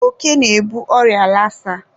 oke na-ebu ọrịa lasa.